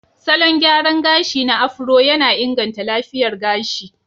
Salon gyara gashi na Afro yana inganta lafiyar gashi.